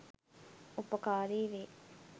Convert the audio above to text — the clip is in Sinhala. උපකාරී වේ.